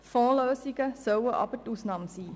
Fondslösungen sollen jedoch die Ausnahme sein.